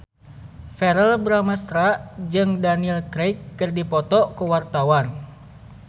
Verrell Bramastra jeung Daniel Craig keur dipoto ku wartawan